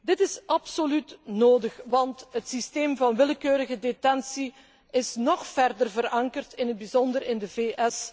Dit is absoluut nodig, want het systeem van willekeurige detentie is nog verder verankerd, in het bijzonder in de VS.